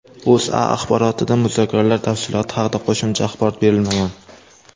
O‘zA axborotida muzokaralar tafsiloti haqida qo‘shimcha axborot berilmagan.